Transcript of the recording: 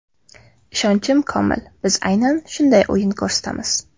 Ishonchim komil, biz aynan shunday o‘yin ko‘rsatamiz.